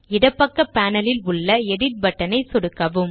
இடப்பக்க பேனல் ல் உள்ள எடிட் பட்டன் ஐ சொடுக்கவும்